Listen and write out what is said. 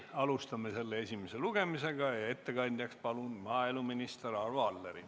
Alustame selle esimest lugemist ja ettekandjaks palun maaeluminister Arvo Alleri.